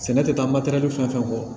Sɛnɛ tɛ taa matɛrɛli fɛn fɛn kɔ